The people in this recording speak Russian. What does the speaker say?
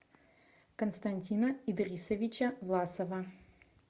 константина идрисовича власова